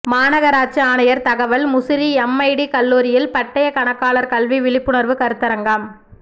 மாநகராட்சி ஆணையர் தகவல் முசிறி எம்ஐடி கல்லூரியில் பட்டய கணக்காளர் கல்வி விழிப்புணர்வு கருத்தரங்கம்